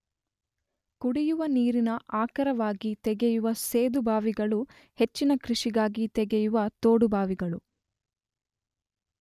ಕುಡಿಯುವ ನೀರಿನ ಆಕರವಾಗಿ ತೆಗೆಯುವ ಸೇದು ಬಾವಿಗಳು ಹೆಚ್ಚಿನ ಕೃಷಿಗಾಗಿ ತೆಗೆಯುವ ತೋಡು ಬಾವಿಗಳು